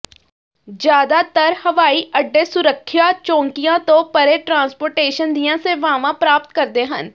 ਜ਼ਿਆਦਾਤਰ ਹਵਾਈ ਅੱਡੇ ਸੁਰੱਖਿਆ ਚੌਂਕੀਆਂ ਤੋਂ ਪਰੇ ਟ੍ਰਾਂਸਪੋਰਟੇਸ਼ਨ ਦੀਆਂ ਸੇਵਾਵਾਂ ਪ੍ਰਦਾਨ ਕਰਦੇ ਹਨ